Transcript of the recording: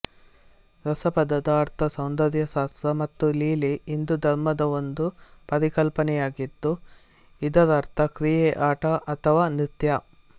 ರಸ ಪದದ ಅರ್ಥ ಸೌಂದರ್ಯಶಾಸ್ತ್ರ ಮತ್ತು ಲೀಲೆ ಹಿಂದೂ ಧರ್ಮದ ಒಂದು ಪರಿಕಲ್ಪನೆಯಾಗಿದ್ದು ಇದರರ್ಥ ಕ್ರಿಯೆ ಆಟ ಅಥವಾ ನೃತ್ಯ